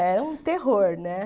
Era um terror, né?